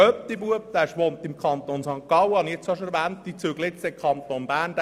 Mein Patensohn wohnt im Kanton St. Gallen und wird demnächst in den Kanton Bern ziehen.